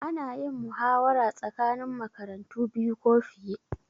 Ana yin muhawara tsakanin makarantu biyu ko fiye